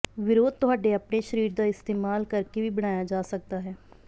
ਵਿਰੋਧ ਤੁਹਾਡੇ ਆਪਣੇ ਸਰੀਰ ਦਾ ਇਸਤੇਮਾਲ ਕਰਕੇ ਵੀ ਬਣਾਇਆ ਜਾ ਸਕਦਾ ਹੈ